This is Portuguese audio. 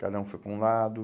Cada um foi para um lado.